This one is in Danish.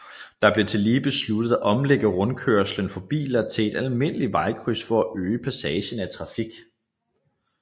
Det blev tillige besluttet at omlægge rundkørslen for biler til et almindeligt vejkryds for at øge passagen af trafik